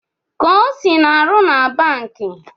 Kosi na-aru na banki